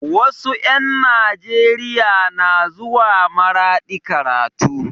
Wasu 'yan Nijeriya na zuwa maradi karatu